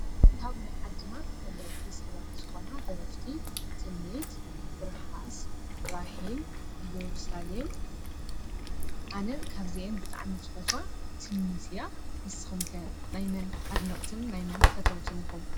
ካብ ናይ ዓድና ተፈለጥቲ ሰባት ዝኾና ደረፍቲ ትምኒት ፣ትርሓስ ፣ራሄል ፣እዮርሳሌም ።ኣነ ካብዚአን ብጣዓሚ ዝፈትዋ ትምኒት እያ ። ንስኹም ከ ናይ መን ኣድነቅትን ናይ መን ፈተውትን ኢኹም ?